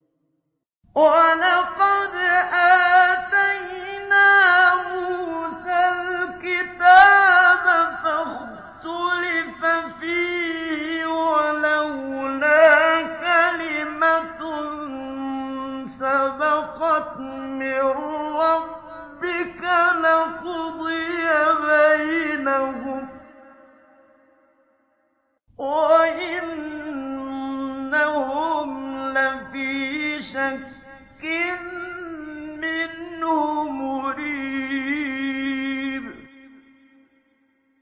وَلَقَدْ آتَيْنَا مُوسَى الْكِتَابَ فَاخْتُلِفَ فِيهِ ۗ وَلَوْلَا كَلِمَةٌ سَبَقَتْ مِن رَّبِّكَ لَقُضِيَ بَيْنَهُمْ ۚ وَإِنَّهُمْ لَفِي شَكٍّ مِّنْهُ مُرِيبٍ